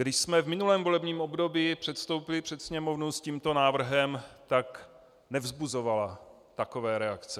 Když jsme v minulém volebním období předstoupili před Sněmovnu s tímto návrhem, tak nevzbuzovala takové reakce.